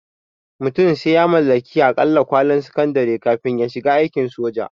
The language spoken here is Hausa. Mutum sai ya mallaki aƙalla kwalin sakandare kafin ya shiga aikin soja